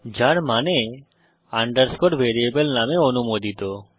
যার মানে underscore variable নামে অনুমোদিত